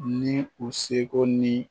Ni u seko ni